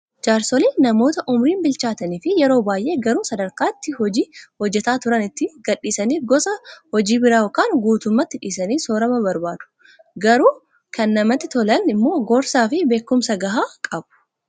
Jaarsoliin namoota umriin bilchaatanii fi yeroo baay'ee garuu sadarkaa itti hojii hojjataa turan itti gadhiisanii gosa hojii biraa yookaan guutummaatti dhiisanii soorama barbaadu. Garuu kan namatti tolan immoo gorsaa fi beekumsa gahaa qabu.